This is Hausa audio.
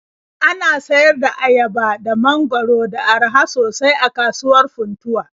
Ana sayar da ayaba da mangwaro da araha sosai a kasuwar Funtuwa.